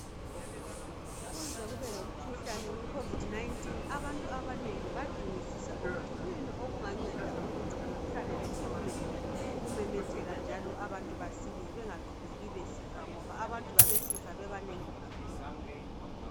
Kuze kube lomkhuhlane owekhovidi 19,abantu abanengi badingisisa ukuthi kuyini okunganceda ukuthi umkhuhlane lo ume ukumemetheka njalo abantu besile bengaqhubeki besifa, ngoba abantu babesifa bebanengi kakhulu.